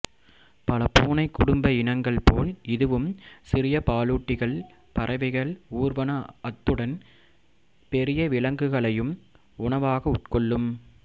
பல பூனைக் குடும்ப இனங்கள் போல் இதுவும் சிறிய பாலூட்டிகள் பறவைகள் ஊர்வன அத்துடன் பெரிய விலங்குகளையும் உணவாக் கொள்ளும்